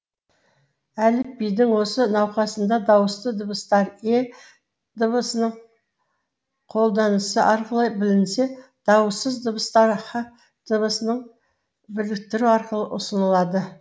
әліпбидің осы науқасында дауысты дыбыстар е дыбысының қолданысы арқылы білінсе дауыссыз дыбыстар һ дыбысының біріктірілуі арқылы ұсынылады